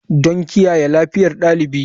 Don kiyaye lafiyar ɗalibi.